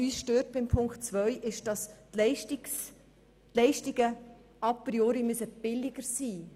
Uns stört, dass die Leistungen a priori billiger sein müssen.